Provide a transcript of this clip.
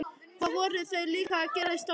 Hvað voru þau líka að gera í stólnum?